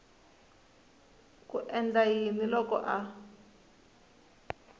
ku endla yini loko a